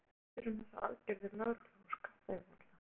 Sölvi, hvað finnst þér um þessar aðgerðir lögreglu og skattayfirvalda?